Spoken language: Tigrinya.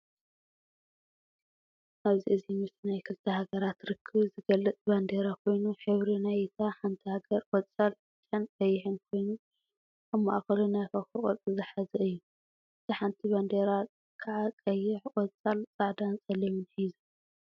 ኣብ እዚ ምስሊ ናይ ክልተ ሃገራት ርክብ ዝገልጽ ባንዴራ ኮይኑ ሕብሪ ናይ እታ ሓንቲ ሃገር ቆጻል ፥ብጫን ቀይሕን ኮይኑ ኣብ ማእኸሉ ናይ ኮኾብ ቅርጺ ዝሓዘ እዩ። እታ ሓንቲ ባንዴራ ከዓ ቀይሕ፥ ቆጻል፥ ጻዕዳን ጸሊምን ሒዙ።